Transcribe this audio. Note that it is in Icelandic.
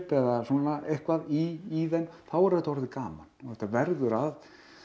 eða svona eitthvað í þeim þá er þetta orðið gaman þetta verður að